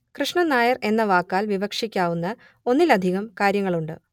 കൃഷ്ണൻ നായർ എന്ന വാക്കാൽ വിവക്ഷിക്കാവുന്ന ഒന്നിലധികം കാര്യങ്ങളുണ്ട്